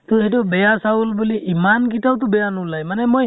তʼসেইটো বেয়া চাউল বুলি ইমান কিতাও তো বেয়া নোলাই । মানে মই